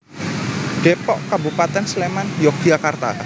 Dépok Kabupatén Sléman Yogyakarta